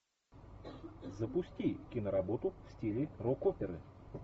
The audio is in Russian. запусти киноработу в стиле рок оперы